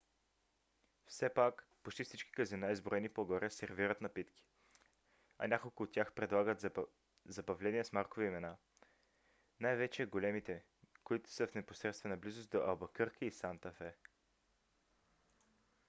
все пак почти всички казина изброени по-горе сервират напитки а няколко от тях предлагат забавления с маркови имена най-вече големите които са в непосредствена близост до албъкърки и санта фе